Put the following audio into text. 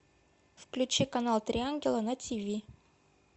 включи канал три ангела на тв